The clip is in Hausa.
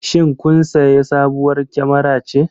Shin kun sayi sabuwar kyamara ce?